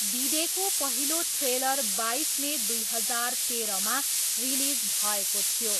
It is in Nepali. डिडेको पहिलो ट्रेलर बाइस मे दुई हजार तेह्रमा रिलिज भएको थियो।